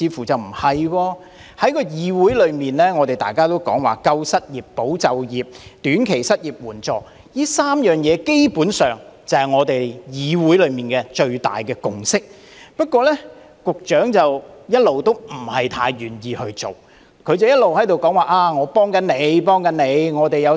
在議會內，大家也說要"救失業"、"保就業"及提供"短期失業援助"，基本上，這3件事情便是議會內的最大共識，但局長卻一直不太願意去做，只是一直說："幫緊你，幫緊你"。